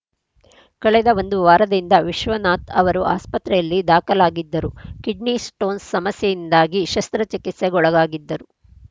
ಕಳೆದ ಒಂದು ವಾರದಿಂದ ವಿಶ್ವನಾಥ್‌ ಅವರು ಆಸ್ಪತ್ರೆಯಲ್ಲಿ ದಾಖಲಾಗಿದ್ದರು ಕಿಡ್ನಿ ಸ್ಟೋನ್‌ ಸಮಸ್ಯೆಯಿಂದಾಗಿ ಶಸ್ತ್ರಚಿಕಿತ್ಸೆಗೊಳಗಾಗಿದ್ದರು